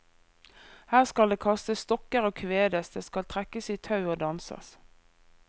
Her skal det kastes stokker og kvedes, det skal trekkes i tau og danses.